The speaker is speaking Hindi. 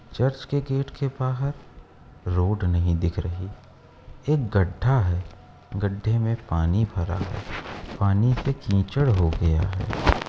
चर्च के गेट के बाहर रोड नहीं दिख रही | एक गड्ढा है गड्ढे में पानी भरा पानी से कीचड़ हो गया है।